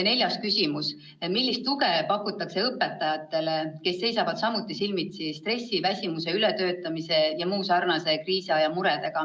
Neljas küsimus: "Millist tuge pakutakse õpetajatele, kes seisavad samuti silmitsi stressi, väsimuse, ületöötamise jms kriisiaja muredega?